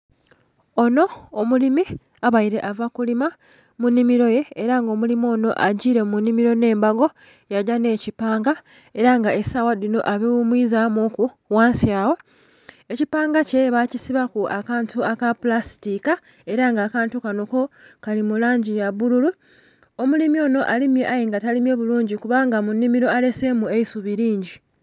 Onho omulimi abaire ava kulima mu nhimiro ye era nga omulimi onho agiile mu nhimiro nhe mbago ya gya nhe'kipanga era nga esawa enho abi ghumwiza mu ku ghansi agho. Ekipanga kye bakisibaku akantu aka pulastika era nga akantu kanho ko kali mulangi ya bululu. Omulimi onho alimye aye nga talimye bulungi kubanga mu nhimiro alesemu eisubi lingi.